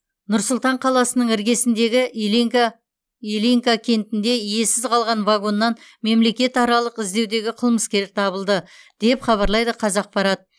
нұр сұлтан қаласының іргесіндегі ильинка кентінде иесіз қалған вагоннан мемлекетаралық іздеудегі қылмыскер табылды деп хабарлайды қазақпарат